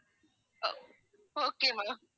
okay ma'am